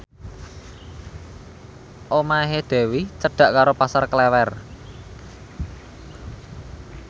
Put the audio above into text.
omahe Dewi cedhak karo Pasar Klewer